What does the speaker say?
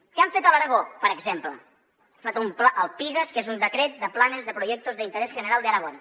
què han fet a l’aragó per exemple han fet el pigas que és un decret de planes y proyectos de interés general de aragón